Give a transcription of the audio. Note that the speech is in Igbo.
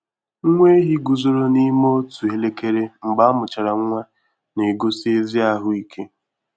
Nwa ehi guzoro n'ime otu elekere mgbe amuchara nwa, na-egosi ezi ahụ ike.